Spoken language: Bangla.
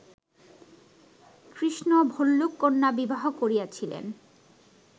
কৃষ্ণ ভল্লুককন্যা বিবাহ করিয়াছিলেন